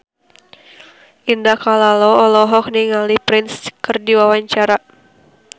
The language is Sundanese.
Indah Kalalo olohok ningali Prince keur diwawancara